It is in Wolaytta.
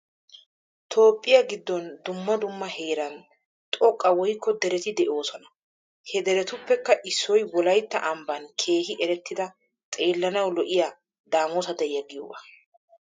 Toophphiya giddon dumma dumma heeran xoqqa woykko dereti de'oosona. He deretuppekka issoy wolaytta ambban keehi erettida xeellanawu lo'iya daamota deriya giyoogaa.